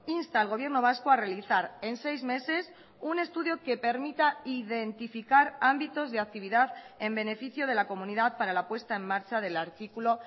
insta al gobierno vasco a realizar en seis meses un estudio que permita identificar ámbitos de actividad en beneficio de la comunidad para la puesta en marcha del artículo